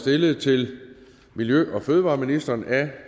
stillet til miljø og fødevareministeren af